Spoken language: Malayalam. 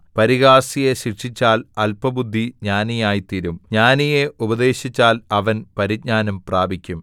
പരിഹാസിയെ ശിക്ഷിച്ചാൽ അല്പബുദ്ധി ജ്ഞാനിയായിത്തീരും ജ്ഞാനിയെ ഉപദേശിച്ചാൽ അവൻ പരിജ്ഞാനം പ്രാപിക്കും